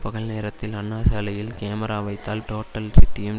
பகல் நேரத்தில் அண்ணாசாலையில் கேமரா வைத்தால் டோட்டல் சிட்டியும்